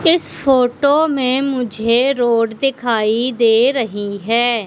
इस फोटो में मुझे रोड दिखाई दे रही है।